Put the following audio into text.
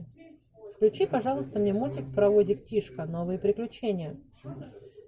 включи пожалуйста мне мультик паровозик тишка новые приключения